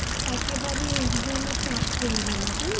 একেবারে EXAM -এ চাপ পড়বে না। তাই না?